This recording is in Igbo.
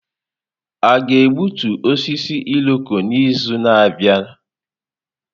A ga-egbutu osisi Irọko n'izu na-abịa?